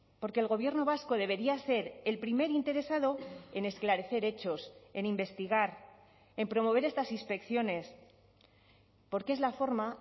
porque el gobierno vasco debería ser el primer interesado en esclarecer hechos en investigar en promover estas inspecciones porque es la forma